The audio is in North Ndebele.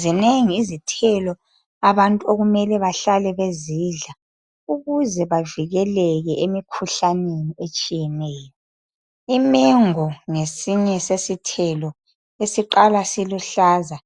Zinengi izithelo abantu okumele bahlale bezidla ukuze bavikeleke emikhuhlaneni etshiyeneyo. Imengo ngesinye sesithelo esiqala siluhlaza